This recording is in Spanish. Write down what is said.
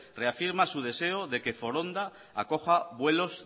reafirma su deseo de que foronda acoja vuelos